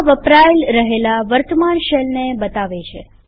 આ વપરાય રહેલા વર્તમાન શેલને બતાવે છે